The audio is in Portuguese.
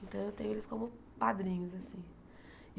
Então, eu tenho eles como padrinhos assim.